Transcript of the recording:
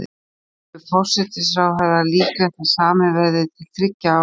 En telur forsætisráðherra líklegt að samið verði til þriggja ára?